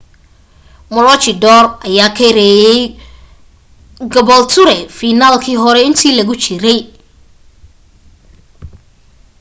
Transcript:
maroochydore ayaa ka reeyay caboolture fiinaalkii hore inta lagu jiray